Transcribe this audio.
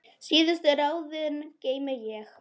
Síðustu ráðin geymi ég.